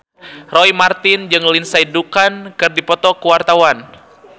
Roy Marten jeung Lindsay Ducan keur dipoto ku wartawan